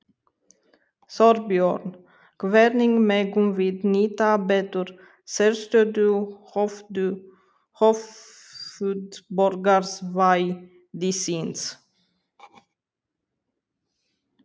Þorbjörn: Hvernig megum við nýta betur sérstöðu höfuðborgarsvæðisins?